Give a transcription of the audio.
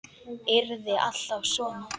Yrði alltaf svona.